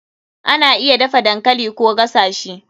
Ana iya dafa dankali Koh gasa shi.